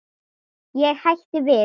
Ég hætti við.